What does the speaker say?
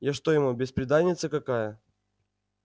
я что ему бесприданница какая